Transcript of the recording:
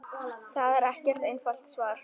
Það er ekkert einfalt svar.